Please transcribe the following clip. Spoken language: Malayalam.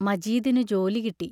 മജീദിനു ജോലി കിട്ടി.